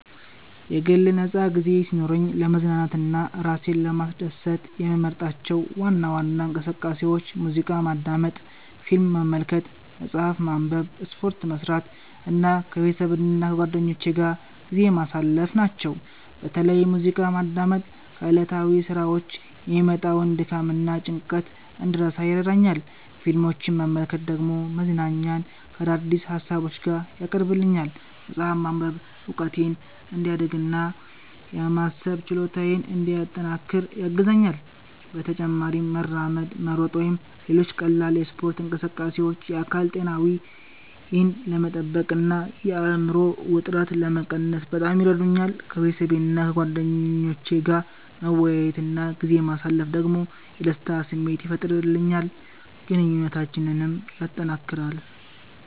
የግል ነፃ ጊዜ ሲኖረኝ ለመዝናናትና ራሴን ለማስደሰት የምመርጣቸው ዋና ዋና እንቅስቃሴዎች ሙዚቃ ማዳመጥ፣ ፊልም መመልከት፣ መጽሐፍ ማንበብ፣ ስፖርት መስራት እና ከቤተሰብና ከጓደኞቼ ጋር ጊዜ ማሳለፍ ናቸው። በተለይ ሙዚቃ ማዳመጥ ከዕለታዊ ሥራዎች የሚመጣውን ድካምና ጭንቀት እንድረሳ ይረዳኛል፣ ፊልሞችን መመልከት ደግሞ መዝናኛን ከአዳዲስ ሀሳቦች ጋር ያቀርብልኛል። መጽሐፍ ማንበብ እውቀቴን እንዲያሳድግ እና የማሰብ ችሎታዬን እንዲያጠናክር ያግዘኛል። በተጨማሪም መራመድ፣ መሮጥ ወይም ሌሎች ቀላል የስፖርት እንቅስቃሴዎች የአካል ጤናዬን ለመጠበቅ እና የአእምሮ ውጥረትን ለመቀነስ በጣም ይረዱኛል። ከቤተሰቤና ከጓደኞቼ ጋር መወያየት እና ጊዜ ማሳለፍ ደግሞ የደስታ ስሜት ይፈጥርልኛል፣ ግንኙነታችንንም ያጠናክራል።